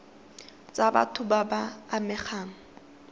tsa batho ba ba amegang